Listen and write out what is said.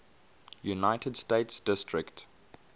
united states district